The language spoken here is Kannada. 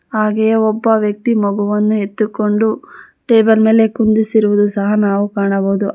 ಹಾಗೆಯೇ ಒಬ್ಬ ವ್ಯಕ್ತಿ ಮಗುವನ್ನು ಎತ್ತುಕೊಂಡು ಟೇಬಲ್ ಮೇಲೆ ಕುಂಡ್ರುಸಿರುವುದು ಸಹ ನಾವು ಕಾಣಬಹುದು.